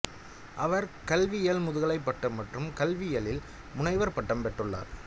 அவர் கல்வியில் முதுகலை பட்டம் மற்றும் கல்வியியலில் முனைவர் பட்டம் பெற்றுள்ளார்